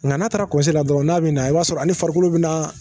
Nka n'a taara la dɔrɔn n'a bɛ na i b'a sɔrɔ a ni farikolo bɛ na